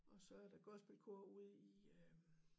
Og så er der gospelkor ude i øh